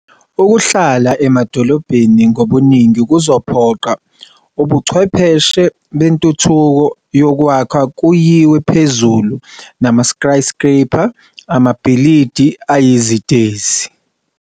Ukuhlala emadolobheni ngobuningi kuzophoqa ubuchwepheshe bentuthuko yakwakha kuyiwe phezulu nama-'skyscraper' amabhilidi ayizitezi.